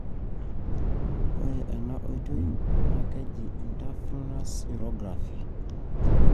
ore ena oitoi na keji intravenous urography.